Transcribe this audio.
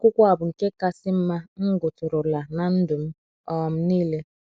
akwụkwọ a bụ nke kasị mma m gụtụrụla ná ndụ m um nile.